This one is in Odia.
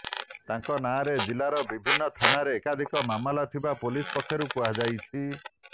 ତାଙ୍କ ନାଁରେ ଜିଲ୍ଲାର ବିଭିନ୍ନ ଥାନାରେ ଏକାଧିକ ମାମଲା ଥିବା ପୋଲିସ ପକ୍ଷରୁ କୁହାଯାଇଛି